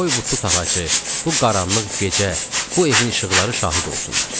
Qoy bu tut ağacı, bu qaranlıq gecə, bu evin işıqları şahid olsunlar.